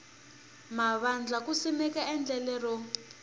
mavandla ku simeka endlelo ro